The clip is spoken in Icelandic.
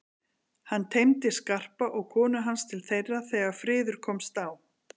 Hann teymdi Skarpa og konu hans til þeirra þegar friður komst á.